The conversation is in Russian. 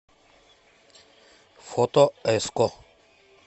фото эско